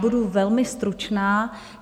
Budu velmi stručná.